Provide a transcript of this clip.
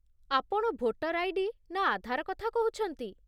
ଆପଣ voter ID. ନା ଆଧାର କଥା କହୁଛନ୍ତି?